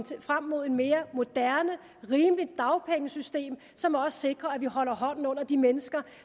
frem mod et mere moderne og rimeligt dagpengesystem som også sikrer at vi holder hånden under de mennesker